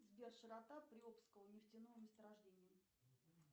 сбер широта приобского нефтяного месторождения